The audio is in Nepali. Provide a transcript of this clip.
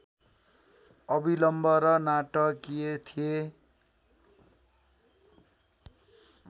अविलम्ब र नाटकीय थिए